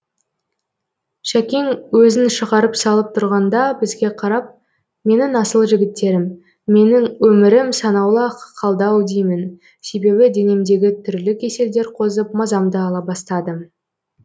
шәкең өзін шығарып салып тұрғанда бізге қарап менің асыл жігіттерім менің өмірім санаулы ақ қалды ау деймін себебі денемдегі түрлі кеселдер қозып мазамды ала бастады